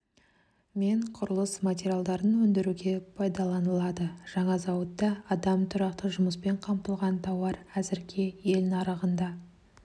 мен құрылыс материалдарын өндіруге пайдаланылады жаңа зауытта адам тұрақты жұмыспен қамтылған тауар әзірге ел нарығында